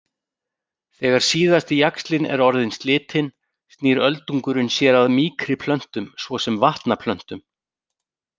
Þegar síðasti jaxlinn er orðinn slitinn snýr öldungurinn sér að mýkri plöntum svo sem vatnaplöntum.